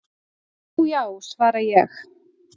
"""Já já, svara ég."""